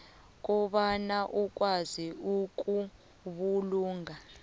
kobana ukwazi ukubulunga